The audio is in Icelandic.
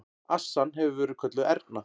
Assan hefur verið kölluð Erna.